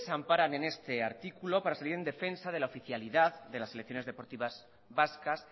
amparan en este artículo para salir en defensa de la oficialidad de las selecciones deportivas vascas